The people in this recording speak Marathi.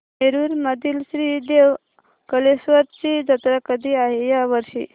नेरुर मधील श्री देव कलेश्वर ची जत्रा कधी आहे या वर्षी